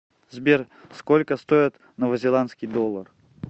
сбер сколько стоит новозеландский доллар